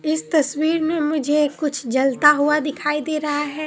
इस तस्वीर में मुझे कुछ जलता हुआ दिखाई दे रहा है।